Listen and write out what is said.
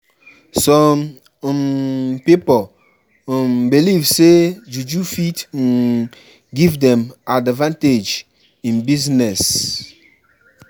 Some um pipo um believe say juju fit um give dem advantage in business.